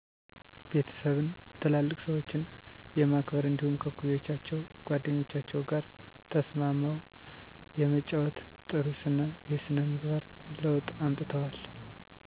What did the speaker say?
ቤተሰብን፣ ትላልቅ ሰዎችን የማክበር እንዲደሁም ከእኩዮቻቸው ጓደኞቻቸው ጋር ተስማምው የመጫወት ጥሩ ስነ የስነ ምግባር ለውጥ አምጥተዋል